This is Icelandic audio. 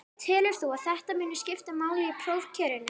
Telur þú að þetta muni skipta máli í prófkjörinu?